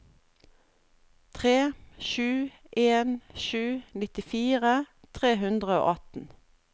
tre sju en sju nittifire tre hundre og atten